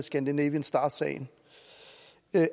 af scandinavian star sagen